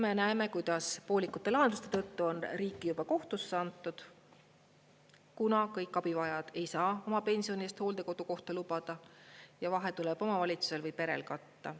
Me näeme, kuidas poolikute lahenduste tõttu on riiki juba kohtusse antud, kuna kõik abivajajad ei saa oma pensionist hooldekodukohta lubada ja vahe tuleb omavalitsusel või perel katta.